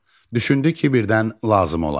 Düşündü ki, birdən lazım olar.